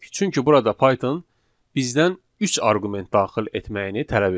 Çünki burada Python bizdən üç arqument daxil etməyini tələb edir.